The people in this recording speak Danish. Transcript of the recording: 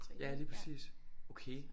Ja lige præcis okay